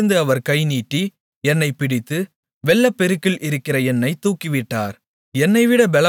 உயரத்திலிருந்து அவர் கை நீட்டி என்னைப் பிடித்து வெள்ளப்பெருக்கில் இருக்கிற என்னைத் தூக்கிவிட்டார்